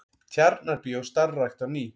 Tjarnarbíó starfrækt á ný